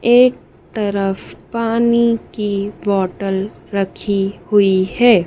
एक तरफ पानी की बॉटल रखी हुई है।